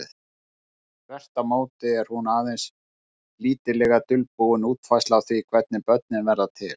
Þvert á móti er hún aðeins lítillega dulbúin útfærsla á því hvernig börnin verða til.